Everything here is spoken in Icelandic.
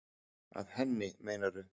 Að henni, meinarðu?